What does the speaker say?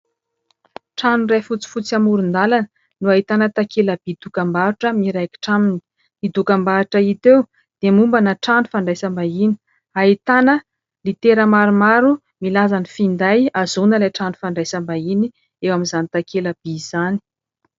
Trano iray fotsifotsy amoron-dalana no ahitana takela-by dokam-barotra miraikitra aminy, io dokam-barotra hita eo dia mombana trano fandraisam-bahiny ahitana litera maromaro milaza ny finday ahazoana ilay trano fandraisam-bahiny eo amin'izany takela-by izany.